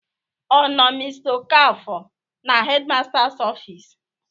Ọ nọ mr okafor na headmasters office?